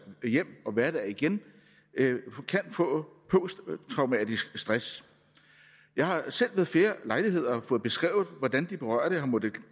hjem og hverdag igen kan få posttraumatisk stress jeg har selv ved flere lejligheder fået beskrevet hvordan de berørte har måttet